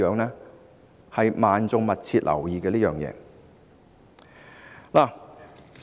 這是萬眾密切留意的。